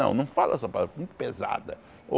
Não não fala essa palavra, muito pesada.